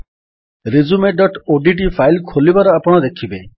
resumeଓଡିଟି file ଖୋଲିବାର ଆପଣ ଦେଖିବେ